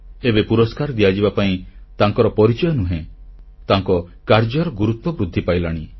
ଏବେ ପୁରସ୍କାର ଦିଆଯିବା ପାଇଁ ତାଙ୍କର ପରିଚୟ ନୁହେଁ ତାଙ୍କ କାର୍ଯ୍ୟର ଗୁରୁତ୍ୱ ବୃଦ୍ଧି ପାଇଲାଣି